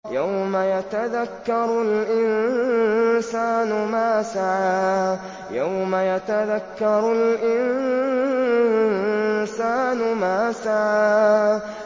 يَوْمَ يَتَذَكَّرُ الْإِنسَانُ مَا سَعَىٰ